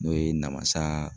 N'o ye namasa